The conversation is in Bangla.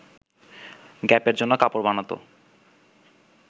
গ্যাপের জন্য কাপড় বানাতো